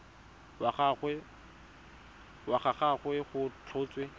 wa ga gagwe go tlhotswe